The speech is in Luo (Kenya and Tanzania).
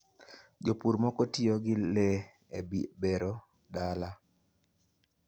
jopur moko tiyo gi le e bero dala.